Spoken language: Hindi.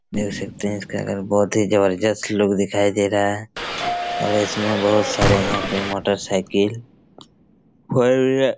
देख सकते है इसका घर बहुत ही जबरदस्त लुक दिखाई रहा है और इसमें बहुत सारे यहाँ पे मोटर साइकिल --